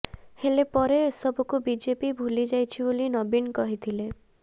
ହେଲେ ପରେ ଏସବୁକୁ ବିଜେପି ଭୁଲି ଯାଇଛି ବୋଲି ନବୀନ କହିଥିଲେ